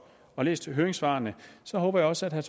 har læst høringssvarene håber jeg også at herre